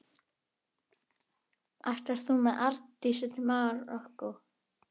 Ætlar þú með Arndísi til Marokkó?